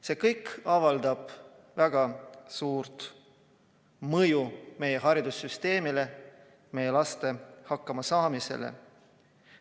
See kõik avaldab väga suurt mõju meie haridussüsteemile, meie laste hakkama saamisele.